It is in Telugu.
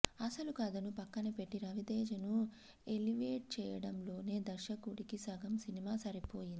అసలు కథను పక్కనపెట్టి రవితేజను ఎలివేట్ చేయడంలోనే దర్శకుడికి సగం సినిమా సరిపోయింది